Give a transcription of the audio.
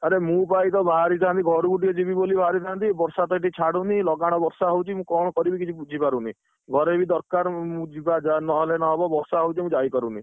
ଆରେ ମୁଁ ପା ଏଇ ତ, ବାହାରିଥାନ୍ତି ଘରକୁ ଟିକେ ଯିବି ବୋଲି ବାହାରିଥାନ୍ତି ବର୍ଷାତ ହେଇତି ଛାଡ଼ୁନି ଲଗାଣ ବର୍ଷା ହଉଛି, ମୁଁ କଣ କରିବି କିଛି ବୁଝିପାରୁନି, ଘରେ ବି ଦରକାର ମୁଁ ଯିବା ନହେଲେ ନ ହବ ବର୍ଷା ହଉଛି ମୁଁ ଯାଇପାରୁନି।